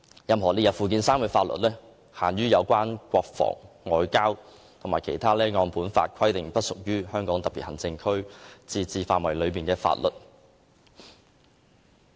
任何列入附件三的法律，只限於有關國防、外交和其他按《基本法》規定不屬於香港特別行政區自治範圍的法律。